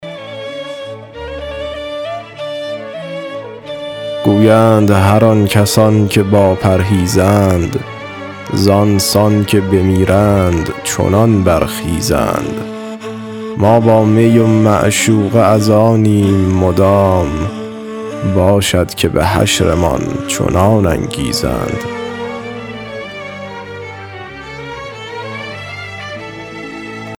گویند هر آن کسان که با پرهیزند زآن سان که بمیرند چنان برخیزند ما با می و معشوقه از آنیم مدام باشد که به حشرمان چنان انگیزند